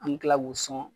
An bɛ tila k'u sɔn